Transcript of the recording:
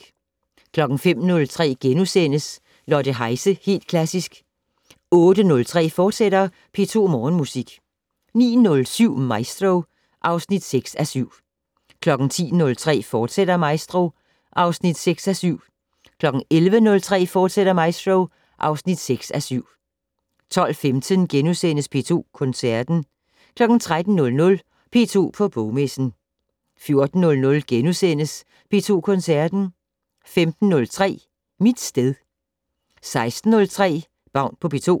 05:03: Lotte Heise - Helt Klassisk * 08:03: P2 Morgenmusik, fortsat 09:07: Maestro (6:7) 10:03: Maestro, fortsat (6:7) 11:03: Maestro, fortsat (6:7) 12:15: P2 Koncerten * 13:00: P2 på Bogmessen 14:00: P2 Koncerten * 15:03: Mit sted 16:03: Baun på P2